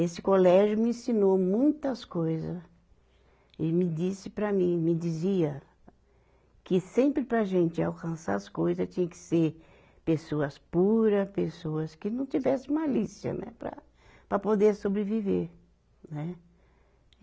Esse colégio me ensinou muitas coisa, e me disse para mim, me dizia que sempre para a gente alcançar as coisa tinha que ser pessoas pura, pessoas que não tivesse malícia, né, para, para poder sobreviver. Né.